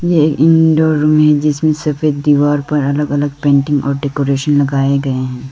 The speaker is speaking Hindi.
ये इनडोर में जिसमें सफेद दीवार पर अलग अलग पेंटिंग और डेकोरेशन लगाए गए हैं।